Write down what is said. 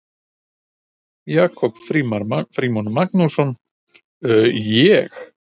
Jakob Frímann Magnússon: Ég?